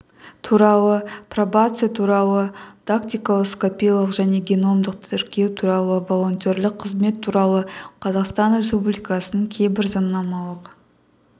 туралы пробация туралы дактилоскопиялық және геномдық тіркеу туралы волонтерлік қызмет туралы қазақстан республикасының кейбір заңнамалық